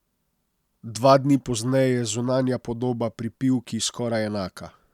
Dva dni pozneje je zunanja podoba pri Pivki skoraj enaka.